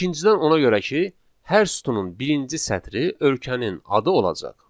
İkincidən ona görə ki, hər sütunun birinci sətri ölkənin adı olacaq.